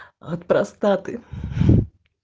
от простаты